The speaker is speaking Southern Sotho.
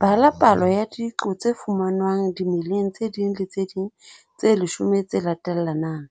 3.1 Bala palo ya diqo tse fumanwang dimeleng tse ding le tse ding tse leshome tse latellanang,